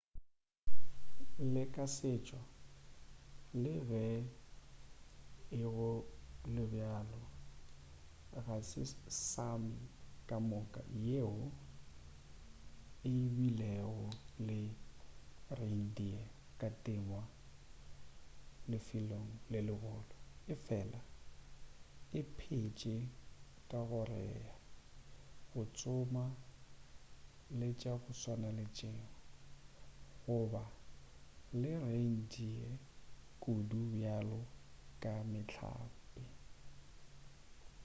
le ka setšo le ge ego le bjalo ga se sámi kamoka yeo e bilego le reindeer ya temo lefelong le legolo efela e phetše ka go rea go tsoma le tša go swana le tšeo go ba le reindeer kudu bjalo ka mehlape